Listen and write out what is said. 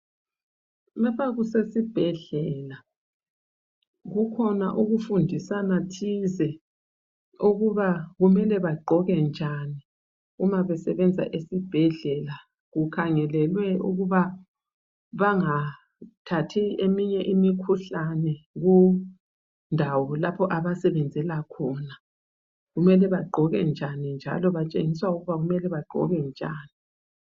Lapha kusesibhedlela kukhona ukufundisana thize ukuba kumele bagqoke njani uma besebenza esibhedlela kukhangelelwe ukuba bangathathi eminye imikhuhlane kundawo lapha abasebenzela khona. Kumele bagqoke njani njalo batshengiswa ukuba kumele bagqoke njani.